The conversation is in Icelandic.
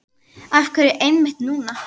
Af hverju einmitt núna?